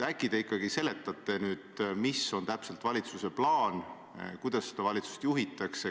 Äkki te ikkagi seletate nüüd, milline on valitsuse plaan ja kuidas seda valitsust juhitakse.